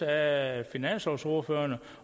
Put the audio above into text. af finanslovsordførerne